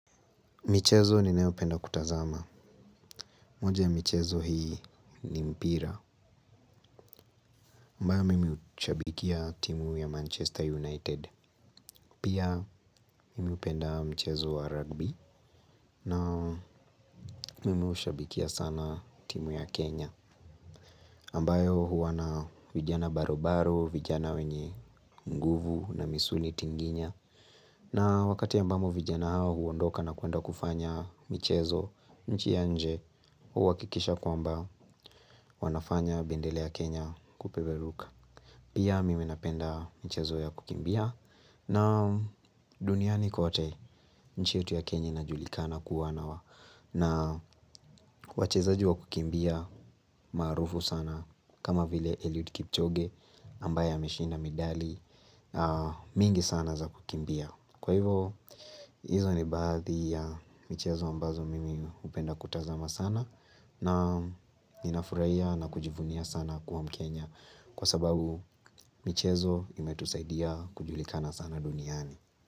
Michezo ni neopenda kutazama. Moja ya michezo hii ni mpira. Mbaya mimi ushabikia timu ya Manchester United. Pia mimi upenda michezo wa rugby. Na mimi ushabikia sana timu ya Kenya. Ambayo huwa na vijana barobaro, vijana wenye nguvu na misuli tinginya. Na wakati ambamo vijana hawa huondoka na kuenda kufanya michezo nchi ya nje. Uwa kikisha kwamba wanafanya bendela ya Kenya kupeperuka. Pia mimi napenda michezo ya kukimbia. Na duniani kote nchi yetu ya Kenya inajulikana kuwa na wa na wachezaji wa kukimbia maarufu sana. Kama vile Eliud Kipchoge ambaye ameshinda medali mingi sana za kukimbia. Kwa hivo hizo ni baadhi ya michezo ambazo mimi upenda kutazama sana. Na ninafuria na kujivunia sana kuwa mkenya. Kwa sababu michezo imetusaidia kujulikana sana duniani.